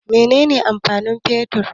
Mene ne amfanin mai fetur?